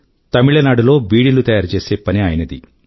తమిళ నాడు లో బీడీలు తయారు చేసే పని ఆయనది